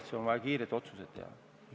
Ja siis on vaja teha kiireid otsuseid.